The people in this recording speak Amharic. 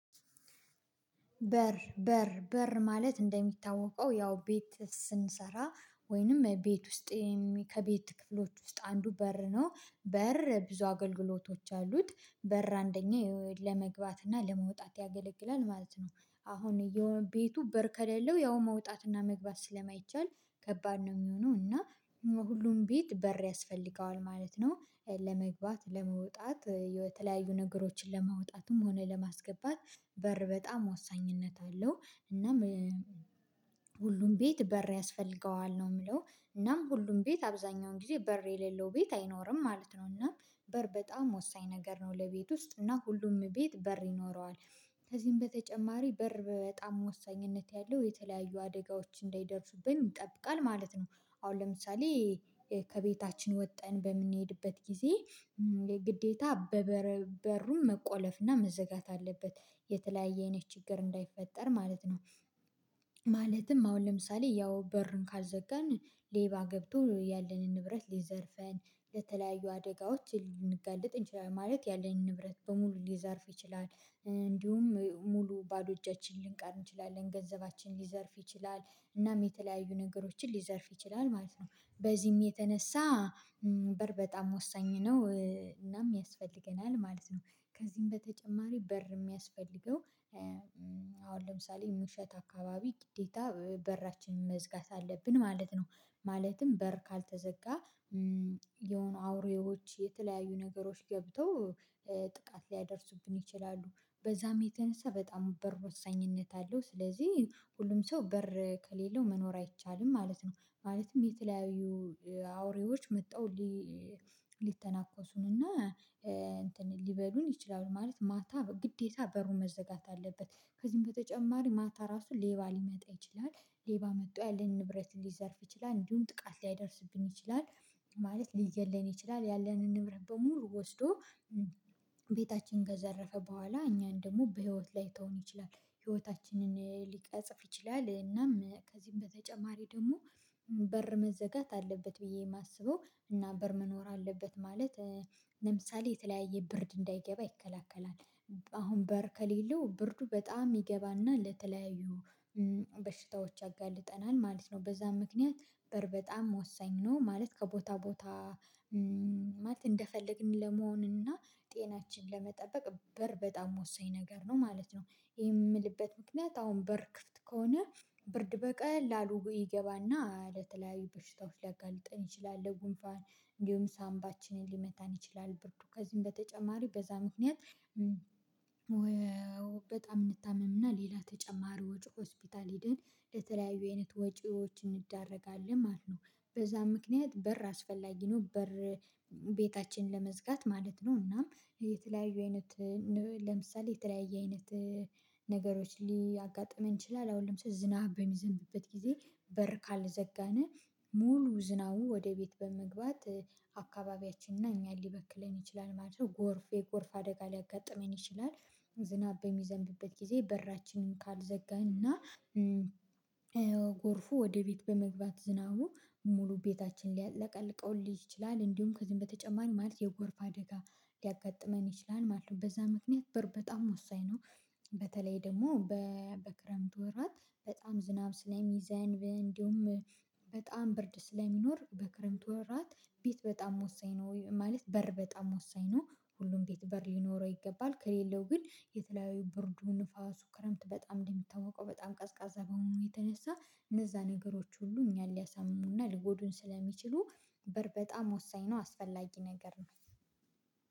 በር በር በር ማለት እንደሚታወቀው ያው ቤት ስንሰራ ወይንም ቤት ውስጥ ከቤት ክፍሎች ውስጥ አንዱ በር ነው። በር ብዙ አገልግሎቶች አሉት በር አንደኛ ለመግባት እና ለመውጣት ያገለግላል ማለት ነው። አሁን የቤቱ በር ከሌለው ያው መውጣት መግባት ስለማይቻል ከባድ ነው የሚሆነው እና ሁሉም ቤት በር ያስፈልገዋል ማለት ነው። ለመግባት ለመውጣት የተለያዩ ነገሮችን ለማውጣትም ሆነ ለማስገባት በር በጣም ወሳኝነት አለው። እናም ሁሉም ቤት በር ያስፈልገዋል ነው የምለው። እናም ሁሉም ቤት አብዛኛውን ጊዜ በር የሌለው ቤት አይኖርም ማለት ነው። እናም በር በጣም ወሳኝ ነገር ነው ለቤት ውስጥ እና ሁሉም ቤት በር ይኖረዋል። ከዚህም በተጨማሪ በር በጣም ወሳኝነት ያለው የተለያዩ አደጋዎች እንዳይደርሱብኝ ይጠብቃል ማለት ነው። አሁን ለምሳሌ ከቤታችን ወጠን በምንሄድበት ጊዜ ግዴታ በበሩም መቆለፍና መዘጋት አለበት የተለያየ አይነት ችግር እንዳይፈጠር ማለት ነው። ማለትም አሁን ለምሳሌ ያው በርን ካልዘገንን ሌባ ገብቶ ያለንን ንብረት ሊዘርፈን ለተለያዩ አደጋዎች ልንጋልጥ እንችላለን ማለት ያለንን ንብረት በሙሉ ሊዘርፍ ይችላል። እንዲሁም ሙሉ ባዶ እጃችንን ልንቀር እንችላለን ገንዘባችን ሊዘርፍ ይችላል እናም የተለያዩ ነገሮችን ሊዘርፍ ይችላል ማለት ነው። በዚህም የተነሳ በር በጣም ወሳኝ ነው። እናም ያስፈልገናል ማለት ነው። ከዚህም በተጨማሪ በር የሚያስፈልገው ለምሳሌ ምሽት አካባቢ ግዴታ በራችንን መዝጋት አለብን ማለት ነው። ማለትም በር ካልተዘጋ የሆኑ አውሬዎች የተለያዩ ነገሮች ገብተው ጥቃት ሊያደርሱብን ይችላሉ። በዛም የተነሳ በጣም በር ወሳኝነት አለው ስለዚህ ሁሉም ሰው በር ከሌለው መኖር አይቻልም ማለት ነው። ማለትም የተለያዩ አውሬዎች መተው ሊተናኮሱን ሊተናኮሱንና እንትን ሊበሉን ይችላሉ ማለት ማታ ግዴታ በሩን መዘጋት አለበት። ከዚህም በተጨማሪ ማታ ራሱን ሌባ ሊመጣ ይችላል ሌባ መጥቶ ያለንን ንብረት ሊዘርፍ ይችላል እንዲሁም ጥቃት ሊያደርስብን ይችላል። ማለት ሊገለን ይችላል ያለንን ንብረት በሙሉ ወስዶ ቤታችንን ከዘረፈ በኋላ እኛን ደግሞ በህይወት ላይተውን ይችላል። ህይወታችንን ሊቀጽፍ ይችላል እናም ከዚህም በተጨማሪ ደግሞ በር መዘጋት አለበት ብዬ የማስበው እና በር መኖር አለበት ማለት። ለምሳሌ የተለያየ ብርድ እንዳይገባ ይከላከላል። አሁን በር ከሌለው ብርዱ በጣም ይገባና ለተለያዩ በሽታዎች አጋልጠናል ማለት ነው። በዛ ምክንያት በር በጣም ወሳኝ ነው። ማለት ከቦታ ቦታ ማለት እንደፈለግን ለመሆን እና ጤናችን ለመጠበቅ በር በጣም ወሳኝ ነገር ነው ማለት ነው። የምልበት ምክንያት አሁን በር ክፍት ከሆነ ብርድ በቀላሉ ይገባና ለተለያዩ በሽታዎች ሊያጋልጠን ይችላል። ለጉንፋን እንዲሁም ሳምባችንን ሊመታን ይችላል ብርዱ ከዚህም በተጨማሪ በዛ ምክንያት በጣም እንታመምና ሌላ ተጨማሪ ወጪ ሆስፒታል ሄደን የተለያዩ አይነት ወጪዎችን እንደረጋለን ማለት ነው። በዛ ምክንያት በር አስፈላጊ ነው በር ቤታችንን ለመዝጋት ማለት ነው። እናም የተለያዩ አይነት ለምሳሌ የተለያየ አይነት ነገሮች ሊያጋጥመቡ እንችላለን አሁን ለምሳሌ ዝናብ በሚዘንብበት ጊዜ በር ካልዘጋነ ሙሉ ዝናቡ ወደ ቤት በመግባት አካባቢያችን እና እኛን ሊበክለን ይችላል ማለት ነው ጎርፍየ ጎርፍ አደጋ ሊያጋጥመን ይችላል። ዝናብ በሚዘንብበት ጊዜ በራችንን ካልዘጋንና ጎርፉ ወደ ቤት በመግባት ዝናቡ ሙሉ ቤታችን ሊያጥለቀልቀው ይችላል። እንዲሁም ከዚህም በተጨማሪ ማለት የጎርፍ አደጋ ሊያጋጥመን ይችላል ማለት ነው። በዛ ምክንያት በጣም ወሳኝ ነው። በተለይ ደግሞ በክረምት ወራት በጣም ዝናብ ስለሚዘንብ እንዲሁም በጣም ብርድ ስለሚኖር በክረምቱ ወራት ቤት በጣም ወሳኝ ነው ማለት በር በጣም ወሳኝ ነው። ሁሉም ቤት በር ሊኖረው ይገባል ከሌለው ግን የተለያዩ ብርዱ ንፋሱ ክረምት በጣም እንደሚታወቀው በጣም ቀዝቃዛ በሆኑ የተነሳ እነዛ ነገሮች ሁሉ እኛን ሊያሳምኑና ሊጎዱን ስለሚችሉ በር በጣም ወሳኝ ነው። አስፈላጊ ነገር ነው።